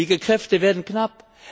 Pflegekräfte werden knapp.